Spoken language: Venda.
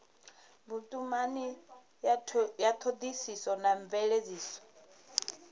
vhutumani ya thodisiso na mveledziso